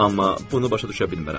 Amma bunu başa düşə bilmərəm.